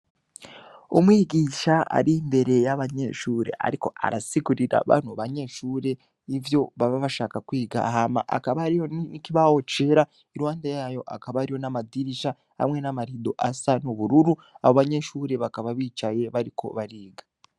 Umwigisha ari imbere y'abanyeshure, ariko arasigurira bantu banyeshure ivyo baba bashaka kwiga hama akaba ariyo nikibawo cera irwande yayo akaba ari yo n'amadirisha hamwe n'amarido asa n'ubururu abo banyeshure bakaba bicaye bariko bariga.